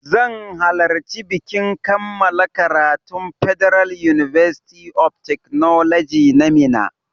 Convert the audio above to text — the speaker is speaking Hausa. Zan halarci bikin kammala karatun federal university of technology na Minna